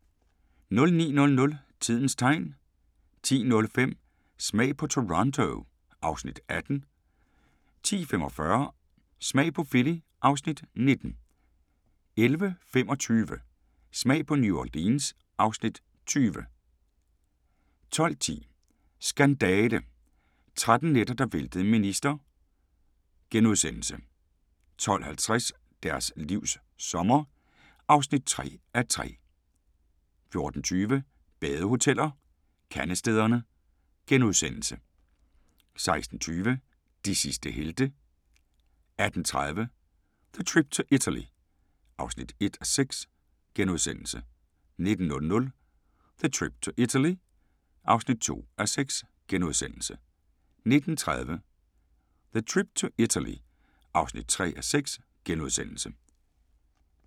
09:00: Tidens Tegn 10:05: Smag på Toronto (Afs. 18) 10:45: Smag på Philly (Afs. 19) 11:25: Smag på New Orleans (Afs. 20) 12:10: Skandale – 13 nætter, der væltede en minister * 12:50: Deres livs sommer (3:3) 14:20: Badehoteller - Kandestederne * 16:20: De sidste helte 18:30: The Trip to Italy (1:6)* 19:00: The Trip to Italy (2:6)*